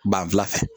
Ban fila fɛ